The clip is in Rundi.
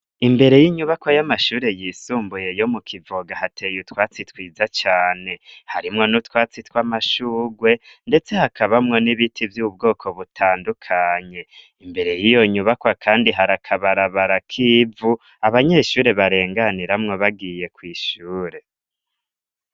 Imbere y'inyubako y'amashure yisumbuye yo mu Kivoga, hateye utwatsi twiza cane. Harimwo n'utwatsi tw'amashurwe ndetse hakabamwo n'ibiti vy'ubwoko butandukanye. Imbere y'iyo nyubakwa kandi hari akabarabara k'ivu abanyeshure barenganiramwo bagiye kw'ishure.